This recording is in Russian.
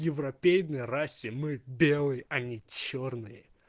в европейной расе мы белый а не чёрные